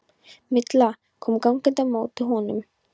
Milla kom gangandi á móti honum.